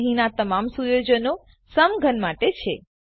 તો અહીંના તમામ સુયોજનો સમઘન માટે છે